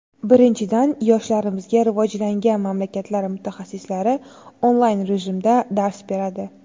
Birinchidan, yoshlarimizga rivojlangan mamlakatlar mutaxassislari onlayn rejimda dars beradi.